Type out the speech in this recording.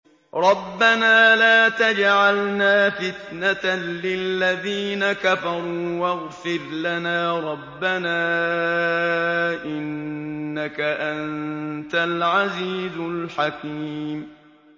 رَبَّنَا لَا تَجْعَلْنَا فِتْنَةً لِّلَّذِينَ كَفَرُوا وَاغْفِرْ لَنَا رَبَّنَا ۖ إِنَّكَ أَنتَ الْعَزِيزُ الْحَكِيمُ